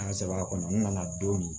An sɛbɛ kɔnɔ n nana don min